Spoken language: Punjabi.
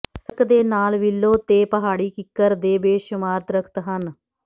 ਸੜਕ ਦੇ ਨਾਲ ਵਿਲੋ ਤੇ ਪਹਾੜੀ ਕਿੱਕਰ ਦੇ ਬੇਸ਼ੁਮਾਰ ਦਰਖਤ ਹਨ